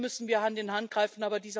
Hier müssen wir Hand in Hand greifen.